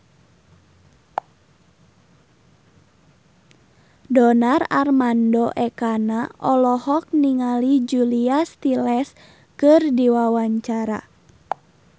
Donar Armando Ekana olohok ningali Julia Stiles keur diwawancara